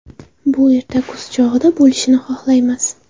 Bu erta kuz chog‘ida bo‘lishini xohlaymiz.